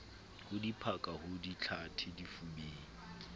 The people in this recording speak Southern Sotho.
ho diphaka ho dihlathe difubeng